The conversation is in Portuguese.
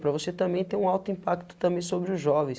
Para você também ter um alto impacto também sobre os jovens.